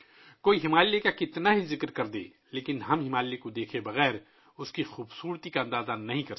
ہمالیہ کے بارے میں کوئی کتنی ہی بات کرے، ہمالیہ کو دیکھے بغیر ہم اس کی خوبصورتی کا اندازہ نہیں لگا سکتے